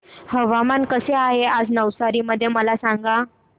हवामान कसे आहे नवसारी मध्ये मला सांगा